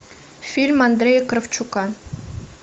фильм андрея кравчука